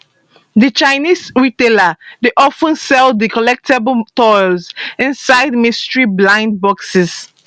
di chinese retailer dey of ten sell di collectable toys inside mystery blind boxes